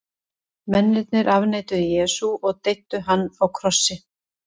mennirnir afneituðu jesú og deyddu hann á krossi